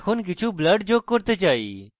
এখন আমি কিছু blur যোগ করতে চাই